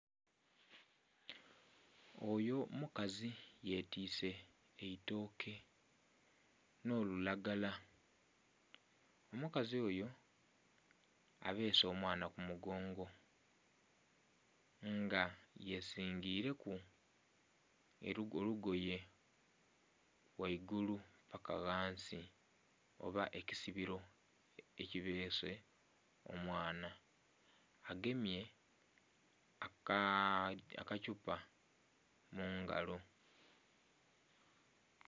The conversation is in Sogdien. Oyo mukazi yetise eitooke n'olulagala omukazi oyo abeese omwana kumugongo nga yezingireku olugoye ghaigulu paaka ghansi oba ekisibiro ekibeese omwana agemye akathupa mungalo.